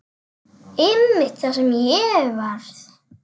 Einmitt það sem ég varð.